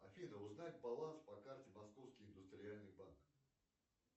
афина узнать баланс по карте московский индустриальный банк